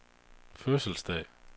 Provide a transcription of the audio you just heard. fødselsdag